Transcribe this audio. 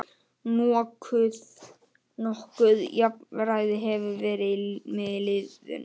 Nokkuð jafnræði hefur verið með liðunum